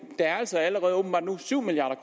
der er altså nu allerede åbenbart syv milliard